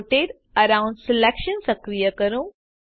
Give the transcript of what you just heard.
rotate around selection સક્રિય કરો